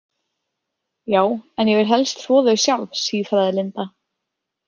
Já, en ég vil helst þvo þau sjálf, sífraði Linda.